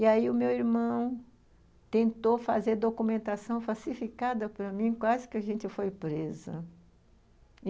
E aí o meu irmão tentou fazer documentação falsificada para mim, quase que a gente foi preso.